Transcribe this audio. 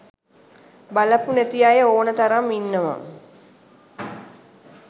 බලපු නැති අය ඕන තරම් ඉන්නවා.